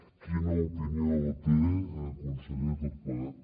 quina opinió en té conseller de tot plegat